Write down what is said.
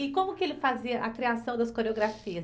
E como que ele fazia a criação das coreografias?